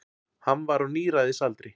Hann var á níræðisaldri.